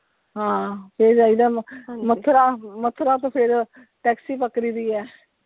ਹਾਂ ਫਿਰ ਜਾਈਦਾ ਮਥੁਰਾ, ਮਥੁਰਾ ਤੋਂ ਫਿਰ taxi ਪਕੜੀ ਦੀ ਹੈ।